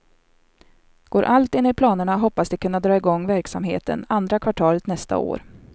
Går allt enligt planerna hoppas de kunna dra i gång verksamheten andra kvartalet nästa år.